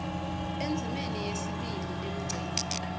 endzimeni yesibili emgceni